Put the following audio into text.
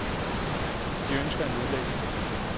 De ønsker at nedlægge skolen.